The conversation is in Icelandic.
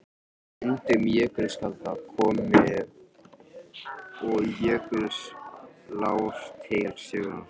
Með myndun jökulskjalda komu og jökulár til sögunnar.